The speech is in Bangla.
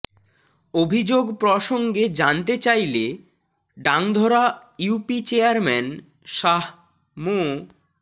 অভিযোগ প্রসঙ্গে জানতে চাইলে ডাংধরা ইউপি চেয়ারম্যান শাহ মো